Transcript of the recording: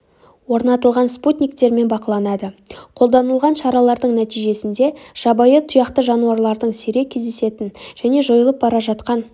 орнатылған спутниктермен бақыланады қолданылған шаралардың нәтижесінде жабайы тұяқты жануарлардың сирек кездесетін және жойылып бара жатқан